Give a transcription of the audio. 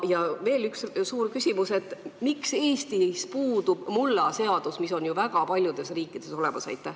Ja veel üks suur küsimus: miks Eestis puudub mullaseadus, mis on väga paljudes riikides olemas?